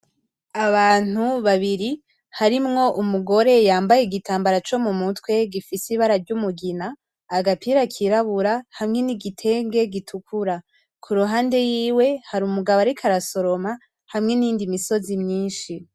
Abantu babiri harimwo umugore yambaye igitambara co mu mutwe gifise ibara ry'umugina; agapira kirabura hamwe n'igitenge gitukura, ku ruhande yiwe hari umugabo ariko arasoroma; hamwe n'iyindi misozi mwinshi.